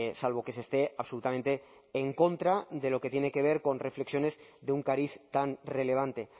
salvo que se esté absolutamente en contra de lo que tiene que ver con reflexiones de un cariz tan relevante